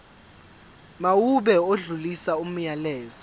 mawube odlulisa umyalezo